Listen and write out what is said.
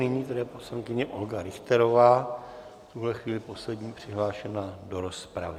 Nyní paní poslankyně Olga Richterová, v tuhle chvíli poslední přihlášená do rozpravy.